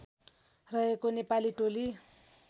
रहेको नेपाली टोली